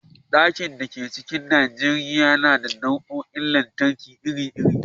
Ɗakin da ke cikin gidajen Najeriya yana da na'urorin lantarki iri-iri